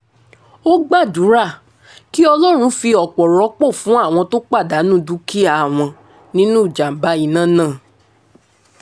ó gbàdúrà kí ọlọ́run fi ọ̀pọ̀ rọ́pò fún àwọn tó pàdánù dúkìá wọn nínú ìjàm̀bá iná náà